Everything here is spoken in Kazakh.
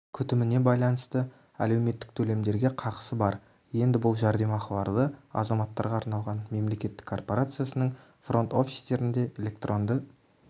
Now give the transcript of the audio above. күтіміне байланысты әлеуметтік төлемдерге қақысы бар енді бұл жәрдемақыларды азаматтарға арналған мемлекеттік корпорациясының фронт-офистерінде электронды